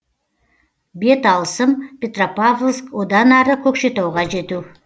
беталысым петропавловск одан ары көкшетауға жету